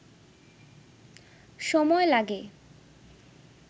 সময় লাগে